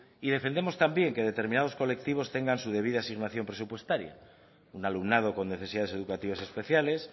y defendemos también que determinados colectivos tengan su debida asignación presupuestaria un alumnado con necesidades educativas especiales